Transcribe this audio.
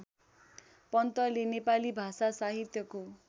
पन्तले नेपाली भाषासाहित्यको